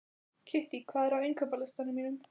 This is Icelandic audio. Kittý, hvað er á innkaupalistanum mínum?